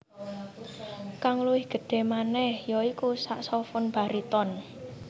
Kang luwih gedhé manèh ya iku saksofon bariton